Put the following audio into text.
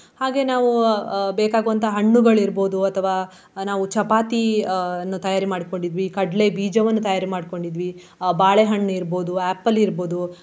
ಹಾಗೆ ನಾವು ಅಹ್ ಬೇಕಾಗುವಂತಹ ಹಣ್ಣುಗಳು ಇರ್ಬಹುದು ಅಥವಾ ನಾವು ಚಪಾತಿ ಅಹ್ ಅನ್ನು ತಯಾರಿ ಮಾಡ್ಕೊಂಡಿದ್ವಿ. ಕಡ್ಲೆ ಬೀಜವನ್ನು ತಯಾರಿ ಮಾಡ್ಕೊಂಡಿದ್ವಿ ಅಹ್ ಬಾಳೆಹಣ್ಣು ಇರ್ಬಹುದು apple ಇರ್ಬಹುದು.